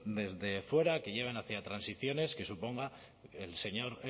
desde fuera que llevan hacia transiciones que supongan el señor